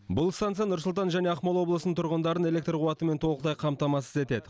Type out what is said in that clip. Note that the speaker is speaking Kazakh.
бұл станция нұр сұлтан және ақмола облысының тұрғындарын электр қуатымен толықтай қамтамасыз етеді